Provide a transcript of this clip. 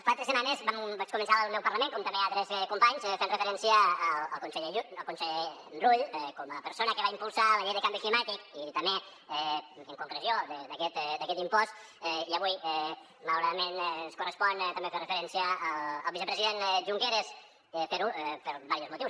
fa tres setmanes vaig començar el meu parlament com també altres companys fent referència al conseller rull com a persona que va impulsar la llei de canvi climàtic i també en concreció d’aquest impost i avui malauradament ens correspon també fer referència al vicepresident junqueras fer ho per diversos motius